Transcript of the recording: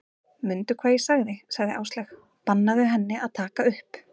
Mundu hvað ég sagði sagði Áslaug, bannaðu henni að taka upp